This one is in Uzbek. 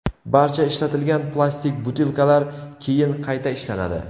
Barcha ishlatilgan plastik butilkalar keyin qayta ishlanadi.